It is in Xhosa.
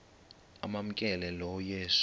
amamkela lo yesu